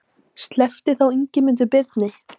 Sleppti þá Ingimundur Birni.